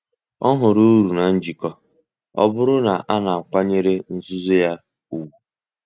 Ọ hụrụ uru na njikọ, ọ bụrụ na a na-akwanyere nzuzo ya ùgwù.